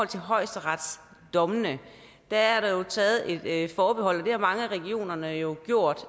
til højesteretsdommene der er der jo taget et forbehold og det har mange af regionerne jo gjort